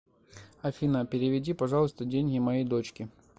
афина переведи пожалуйста деньги моей дочке